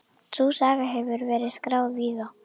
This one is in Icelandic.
Sú saga hefur verið skráð víða.